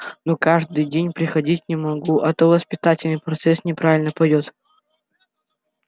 но каждый день приходить не могу а то воспитательный процесс неправильно пойдёт